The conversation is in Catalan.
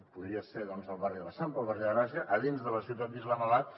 podria ser doncs el barri de l’eixample o el barri de gràcia a dins de la ciutat d’islamabad